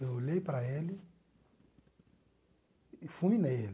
Eu olhei para ele e fulminei ele.